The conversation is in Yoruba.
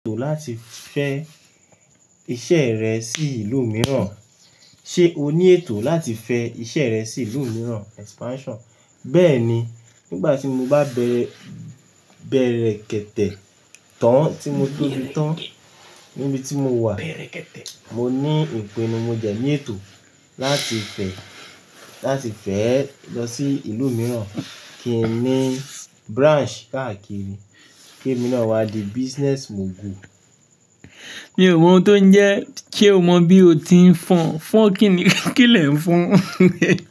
Ètò láti fẹ́ iṣẹ́ rẹ sí ìlú mìíràn. Ṣé o ní ètò láti fẹ iṣẹ́ rẹ sí ìlú mìíràn? Expansion. Bẹ́ẹ̀ni, nígbà tí mo bá bẹ̀rẹ̀, bẹ̀rẹ̀ kẹ́tẹ̀ẹ̀ tán tí mo tóbi tán níbi tí mo wà, mo ní ìpinínu mo dẹ́ ní ètò láti fẹ́, láti fẹ́ lọ sí ìlú mìíràn kí n ní branch káàkiri, kí èmi náà wá di business mogul. Mi ò mọ ohun tó ń jẹ́, ṣé o mọ bí o ti ń fọn, fọn kíni, kílé ń fọn?